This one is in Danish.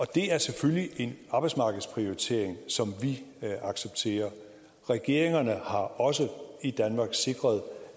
det er selvfølgelig en arbejdsmarkedsprioritering som vi accepterer regeringerne har også sikret